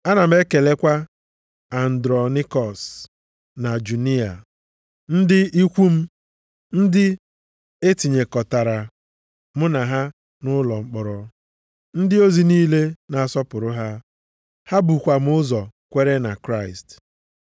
Ana m ekelekwa Andronaikọs na Juniya, ndị ikwu m, ndị e tinyekọtara mụ na ha nʼụlọ mkpọrọ. Ndị ozi niile na-asọpụrụ ha. Ha bukwa m ụzọ kwere na Kraịst.